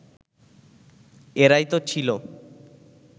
এরাই তো ছিল